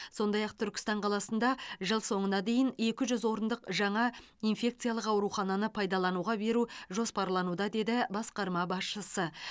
сондай ақ түркістан қаласында жыл соңына дейін екі жүз орындық жаңа инфекциялық аурухананы пайдалануға беру жоспарлануда деді басқарма басшысы